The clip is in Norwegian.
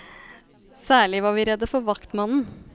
Særlig var vi redde for vaktmannen.